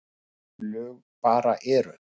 Sum lög bara eru.